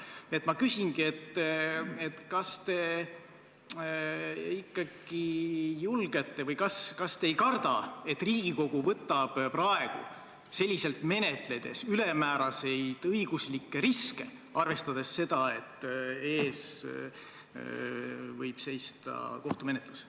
Nii et ma küsingi, kas te ei karda, et Riigikogu võtab praegu selliselt menetledes ülemääraseid õiguslikke riske, arvestades seda, et ees võib seista kohtumenetlus.